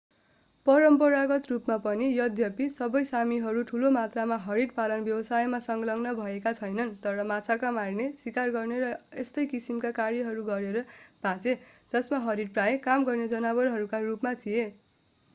परम्परागत रूपमा पनि यद्यपि सबै सामीहरू ठूलो मात्रामा हरिण पालन व्यवसायमा संलग्न भएका छैनन् तर माछा मार्ने सिकार गर्ने र यस्तै किसिमका कार्यहरू गरेर बाँचे जसमा हरिण प्रायः काम गर्ने जनावरहरूका रूपमा थिए